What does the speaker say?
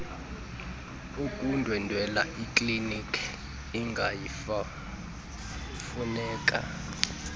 kokundwendwela ikliniki ingayimfuneka